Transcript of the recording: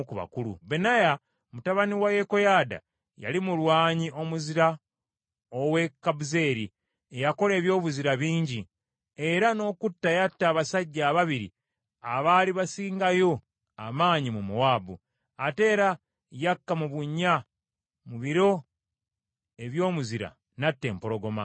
Benaya mutabani wa Yekoyaada yali mulwanyi omuzira ow’e Kabuzeeri, eyakola ebyobuzira bingi, era n’okutta yatta abasajja ababiri abaali basingayo amaanyi mu Mowaabu. Ate era yakka mu bunnya mu biro eby’omuzira n’atta empologoma.